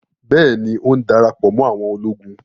Bẹ́ẹ̀ni, ó ń darapọ̀ mọ́ àwọn ológun